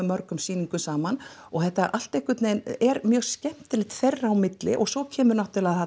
mörgum sýningum saman þetta allt einhvern veginn er mjög skemmtilegt þeirra á milli og svo kemur